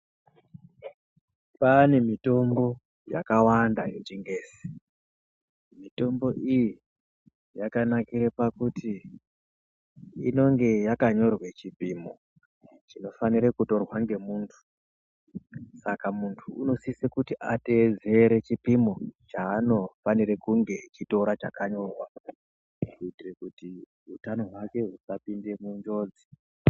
Pane mitombo yakawanda yeChiNgezi. Mitombo iyi yakanakire pakuti inonge yakanyorwe chipimo chinofanire kutorwa ngemuntu, saka muntu unosise kuti ateedzere chipimo chaanofanire kunge echitora chakanyorwa, kuti utano hwake husapinde munjodzi.